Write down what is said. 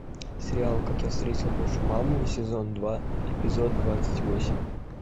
сериал как я встретил вашу маму сезон два эпизод двадцать восемь